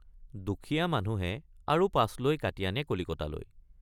দুখীয়া মানুহে আৰু পাছ লৈ কাটি আনে কলিকতালৈ।